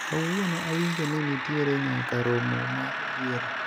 kawuono awinjo ni nitiere nyaka romo mar yiero